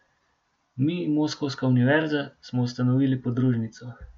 Mi, moskovska univerza, smo ustanovili podružnico.